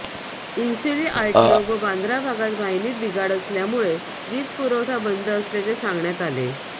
Insuli RTO व बांदा भागात वाहिनीत बिघाड असल्यामुळे वीजपुरवठा बंद असल्याचे सांगण्यात आले